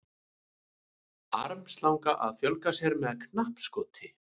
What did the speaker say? Armslanga að fjölga sér með knappskoti.